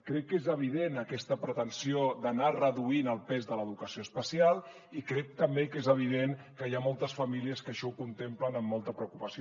crec que és evident aquesta pretensió d’anar reduint el pes de l’educació especial i crec també que és evident que hi ha moltes famílies que això ho contemplen amb molta preocupació